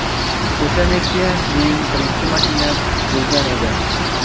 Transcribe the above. O‘sha Nexia mening birinchi mashinam bo‘lgan edi.